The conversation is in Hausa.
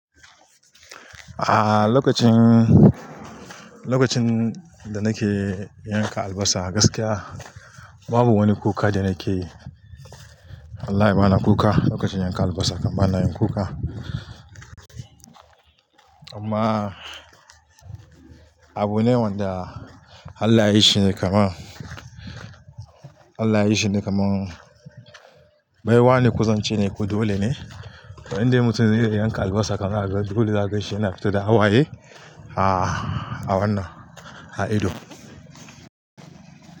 Aaa, lokacin, lokacin da nake yanka albasa gaskiya babu wani kuka da nake, wallahi bani da kuka lokacin yanka albasa, kam ba na yin kuka. Amma abune wanda Allah ya yi shine kamar, Allah ya yi shine kamar baiwa ne kusan ce ne, kuɗi dole ne. Indai mutum zai iya yanka albasa kamar dole za ka shiga fita da hawaye a, a wannan, a ido.